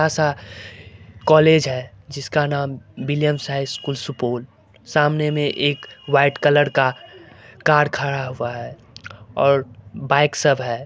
आसा कॉलेज जिसका नाम है विल्लिअम्स हाई स्कूल सुपोल सामने में एक वाइट कलर का कार खड़ा हुआ है और बाइक सब है।